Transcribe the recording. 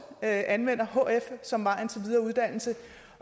anvender hf som vejen til videre uddannelse